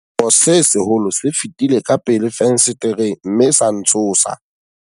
Sekgo se seholo se fetile ka pele fensetereng mme sa ntshosa.